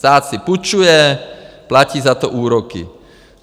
Stát si půjčuje, platí za to úroky.